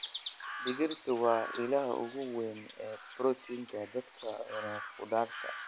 Digirta waa ilaha ugu weyn ee borotiinka dadka cuna khudradda.